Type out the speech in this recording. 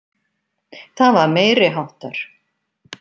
Það var meiriháttar.